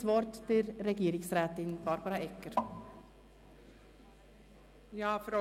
Ich erteile das Wort Regierungsrätin Barbara Egger.